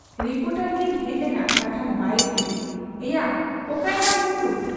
Reporter ᱠᱤᱱ ᱦᱮᱡ ᱞᱮᱱᱟ ᱠᱟᱛᱷᱟᱱ ᱵᱟᱭᱤᱴ ᱤᱫᱤ ᱾ ᱮᱭᱟ ᱚᱠᱟᱭᱮᱱᱟᱢ ᱢᱚᱠᱨᱩ !